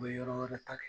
U bɛ yɔrɔ wɛrɛ ta kɛ